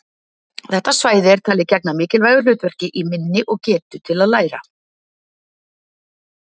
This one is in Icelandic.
Þetta svæði er talið gegna mikilvægu hlutverki í minni og getu til að læra.